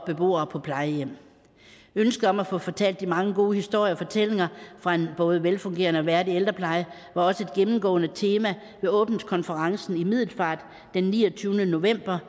beboere på plejehjem ønsket om at få fortalt de mange gode historier og fortællinger fra en både velfungerende og værdig ældrepleje var også et gennemgående tema ved åbningskonferencen i middelfart den niogtyvende november